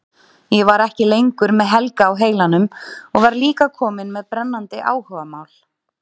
Ég var ekki lengur með Helga á heilanum og var líka komin með brennandi áhugamál.